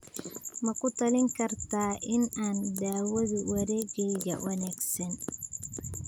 ma ku talin kartaa in aan daawado wareeggeyga wanaagsan